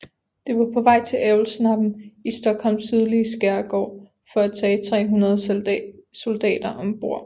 Det var på vej til Älvsnabben i Stockholms sydlige skærgård for at tage 300 soldater om bord